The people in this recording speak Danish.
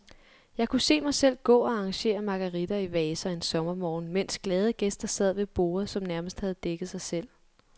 Jeg kunne se mig selv gå og arrangere marguritter i vaser en sommermorgen, mens glade gæster sad ved borde, som nærmest havde dækket sig selv.